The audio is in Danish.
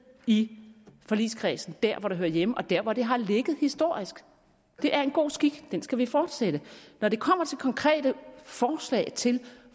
i forligskredsen der hvor det hører hjemme og der hvor det har ligget historisk det er en god skik og den skal vi fortsætte når det kommer til konkrete forslag til